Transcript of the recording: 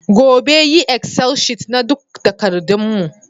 Gobe, yi excel sheet na duk takardun mu